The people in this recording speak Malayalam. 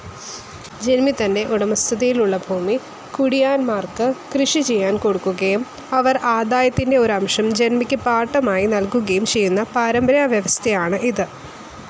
ജന്മി തൻ്റെ ഉടമസ്ഥതയിലുള്ള ഭൂമി കുടിയാന്മാർക്ക് കൃഷിചെയ്യാൻകൊടുക്കുകയും അവർ ആദായത്തിൻ്റെ ഒരംശം ജന്മിക്ക് പാട്ടമായി നൽകുകയും ചെയ്യുന്ന പാരമ്പര്യവ്യവസ്ഥയാണ് ഇത്.